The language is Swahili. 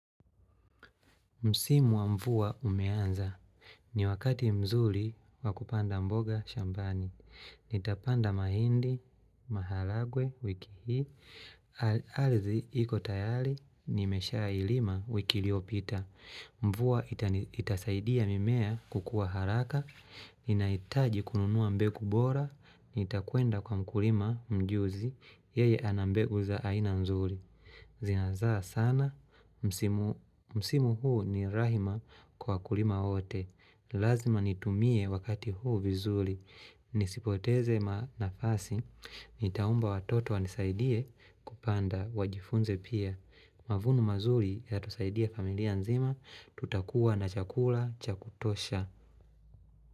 Msimu wa mvua umeanza. Ni wakati mzuri wa kupanda mboga shambani. Nitapanda mahindi, maharagwe, wiki hii, ardhi iko tayari, nimeshailima wiki iliyopita. Mvua itasaidia mimea kukua haraka, ninaitaji kununuwa mbegu bora, nitakwenda kwa mkulima mjuzi, yeye ana mbegu za aina mzuri. Zinazaa sana, msimu huu ni rahima kwa wakulima wote Lazima nitumie wakati huu vizuri Nisipoteze ma nafasi, nitaomba watoto wanisaidie kupanda wajifunze pia Mavuno mazuli yatasaidia familia nzima, tutakuwa na chakula cha kutosha.